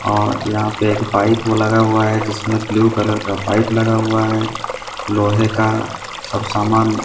और यहां पे एक पाइप वो लगा हुआ है जिसमें ब्लू कलर का पाइप लगा हुआ है लोहे का सब सामान--